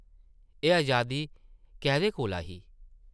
एह् अजादी कैह्दे कोला ही ?